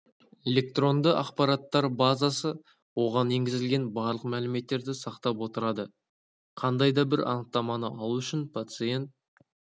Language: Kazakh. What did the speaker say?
электронды ақпараттар базасы оған енгізілген барлық мәліметтерді сақтап отырады қандай да бір анықтаманы алу үшін пациент